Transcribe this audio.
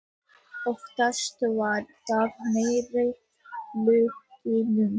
Oftast var það nærri höllunum.